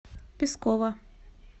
пескова